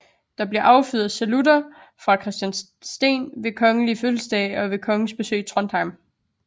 Det bliver affyret salutter fra Kristiansten ved kongelige fødselsdage og ved kongens besøg i Trondheim